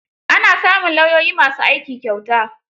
Ana samun lauyoyi ma su aiki kyauta.